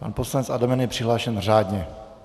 Pan poslanec Adamec je přihlášen řádně.